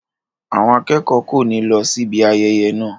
Àwọn akẹ́kọ̀ọ́ kò ní lọ síbi ayẹyẹ náà.